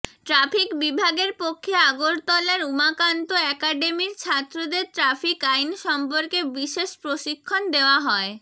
traffic বিভাগের পক্ষে আগরতলার উমাকান্ত একাডেমির ছাত্রদের ট্রাফিক আইন সম্পর্কে বিশেষ প্রশিক্ষণ দেওয়া হয়